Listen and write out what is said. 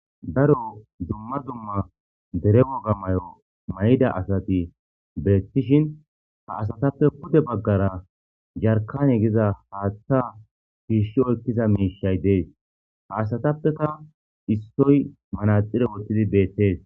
Daro duma duma dere woga mayida asati dishin ha asatappe pude bagara jarkane giza hatha shishi oyikida mishayi de,ees ha asatappeka isoyi manaxire wotidi betees